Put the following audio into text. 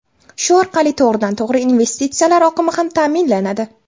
Shu orqali to‘g‘ridan to‘g‘ri investitsiyalar oqimi ham ta’minlanadi.